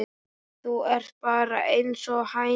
Þú ert bara einsog hæna.